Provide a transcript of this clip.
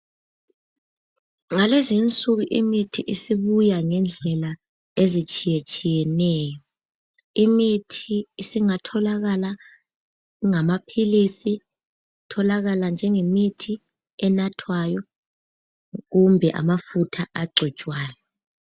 ngalezinsuku imithi isibuya ngendlela ezitshiyatshiyeneyo imithi isingatholakala ingamaphilisi itholakala njengemithi enathwayo utholakale njengamafutha a cotshwayo.